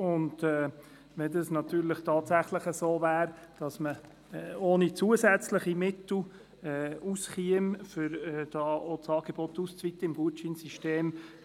Wäre es tatsächlich möglich, das Angebot im Gutscheinsystem ohne zusätzliche Mittel auszuweiten,